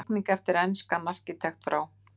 Teikning eftir enskan arkitekt frá